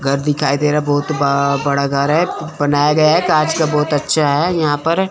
घर दिखाई दे रहा है बहुत ब बड़ा घर है बनाया गया है कांच का बहुत अच्छा है यहां पर --